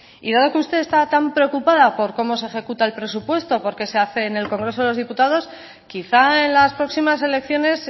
y dado que usted está tan preocupada por cómo se ejecuta el presupuesto porque se hacen en el congreso de los diputados quizá en las próximas elecciones